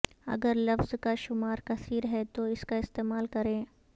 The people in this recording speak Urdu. اگر لفظ کا شمار کثیر ہے تو اس کا استعمال کریں